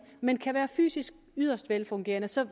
men kan være fysisk yderst velfungerende så